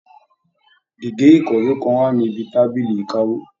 Gégé ikọwe kàn wá níbi tábìlì ìkáwó.